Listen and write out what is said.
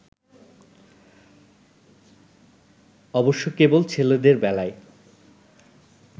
অবশ্য কেবল ছেলেদের বেলায়